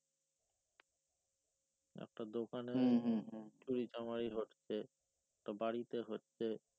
একটা দোকানে চুরিচামারি হচ্ছে একটা বাড়িতে হচ্ছে